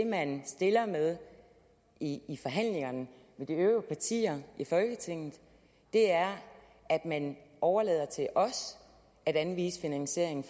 man stiller med i i forhandlingerne med de øvrige partier i folketinget er at man overlader det til os at anvise finansieringen